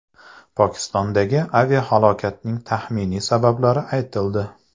Pokistondagi aviahalokatning taxminiy sabablari aytildi.